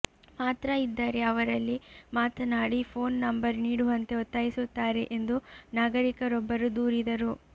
ಮಾತ್ರ ಇದ್ದರೆ ಅವರಲ್ಲಿ ಮಾತನಾಡಿ ಫೋನ್ ನಂಬರ್ ನೀಡುವಂತೆ ಒತ್ತಾಯಿಸುತ್ತಾರೆ ಎಂದು ನಾಗರಿಕ ರೊಬ್ಬರು ದೂರಿದರು